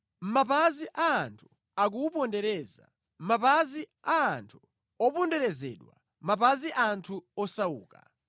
Mapazi a anthu akuwupondereza, mapazi a anthu oponderezedwa, mapazi anthu osauka.